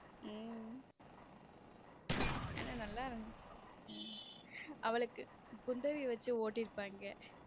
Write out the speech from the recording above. உம் ஆனா நல்லா இருந்துச்ச உம் அவளுக்கு குந்தவி வச்சு ஓட்டியிருப்பாங்க.